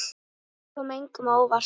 Þetta kom engum á óvart.